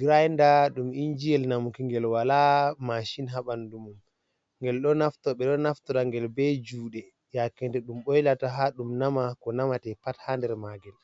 grainder ɗum injiyel namuki ngel wala machin ha ɓanɗu mum. Ngel ɗo naftora ngel be juɗe yaake nde ɗum boylata ha ɗum nama ko namate pat ha nder magel.